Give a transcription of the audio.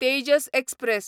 Tejas express